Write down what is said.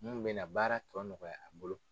Minnu bɛna baara tɔ nɔgɔya a bolo